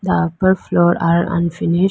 uh upper floor are unfinish.